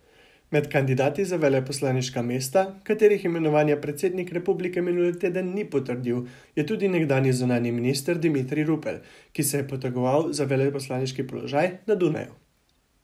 Med kandidati za veleposlaniška mesta, katerih imenovanja predsednik republike minuli teden ni potrdil, je tudi nekdanji zunanji minister Dimitrij Rupel, ki se je potegoval za veleposlaniški položaj na Dunaju.